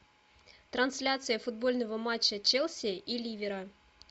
трансляция футбольного матча челси и ливера